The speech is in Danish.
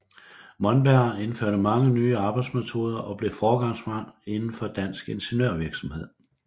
Monberg indførte mange nye arbejdsmetoder og blev foregangsmand indenfor dansk ingeniørvirksomhed